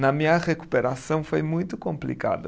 Na minha recuperação foi muito complicado.